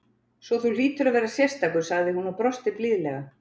. svo þú hlýtur að vera sérstakur, sagði hún og brosti blíðlega.